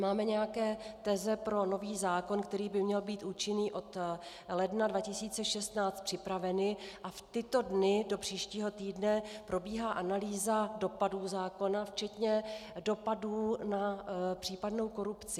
Máme nějaké teze pro nový zákon, který by měl být účinný od ledna 2016, připraveny a v tyto dny, do příštího týdne, probíhá analýza dopadů zákona, včetně dopadů na případnou korupci.